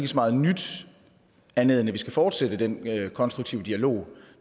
så meget nyt andet end at vi skal fortsætte den konstruktive dialog